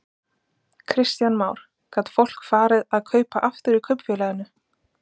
Kristján Már: Gat fólk farið að kaupa aftur í kaupfélaginu?